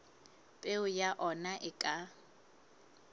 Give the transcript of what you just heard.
peo ya ona e ka